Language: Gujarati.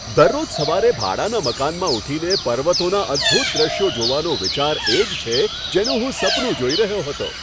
દરરોજ સવારે ભાડાના મકાનમાં ઉઠીને પર્વતોના અદભૂત દ્રશ્યો જોવાનો વિચાર એ જ છે જેનું હું સપનું જોઈ રહ્યો હતો.